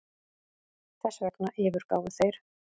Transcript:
Þessvegna yfirgáfu þeir